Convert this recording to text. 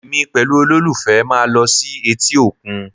Èmi pẹ̀lú olólùfẹ́ máa lọ sí etí òkun